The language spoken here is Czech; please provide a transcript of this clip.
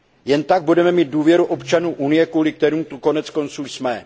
Jen tak budeme mít důvěru občanů Unie, kvůli kterým tu koneckonců jsme.